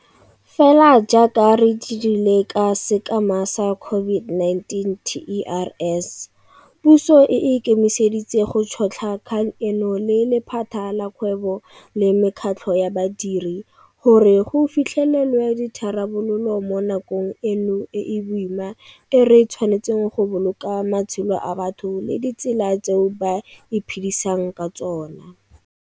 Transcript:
Fela jaaka re dirile ka sekema sa COVID-19 TERS, puso e ikemiseditse go tšhotlha kgang eno le lephata la kgwebo le mekgatlho ya badiri gore go fitlhelelwe ditharabololo mo nakong eno e e boima e re tshwanetseng go boloka matshelo a batho le ditsela tseo ba iphedisang ka tsona.